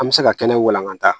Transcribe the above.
An bɛ se ka kɛnɛ walankata